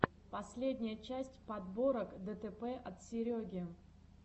последняя часть подборок дэтэпэ от сереги